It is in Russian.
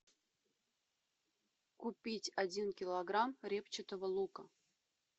купить один килограмм репчатого лука